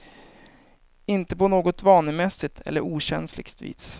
Inte på något vanemässigt eller okänsligt vis.